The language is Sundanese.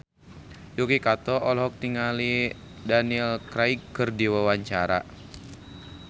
Yuki Kato olohok ningali Daniel Craig keur diwawancara